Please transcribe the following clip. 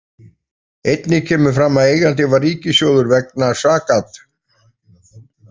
Einnig kemur fram að eigandi var ríkissjóður vegna sakad .